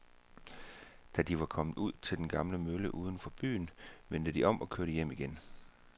Da de var kommet ud til den gamle mølle uden for byen, vendte de om og kørte hjem igen.